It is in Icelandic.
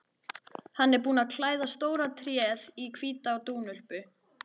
Hann er búinn að klæða stóra tréð í hvíta dúnúlpu.